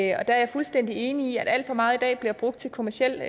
er jeg fuldstændig enig i at alt for meget i dag bliver brugt til kommerciel